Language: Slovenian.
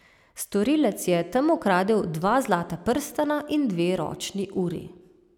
Storilec je tam ukradel dva zlata prstana in dve ročni uri.